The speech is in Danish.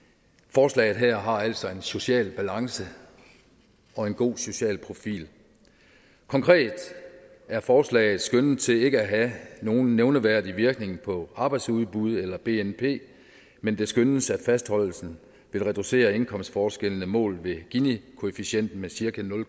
forslaget her har altså en social balance og en god social profil konkret er forslaget skønnet til ikke have nogen nævneværdig virkning på arbejdsudbud eller bnp men det skønnes at fastholdelsen vil reducere indkomstforskellene målt ved ginikoefficienten med cirka nul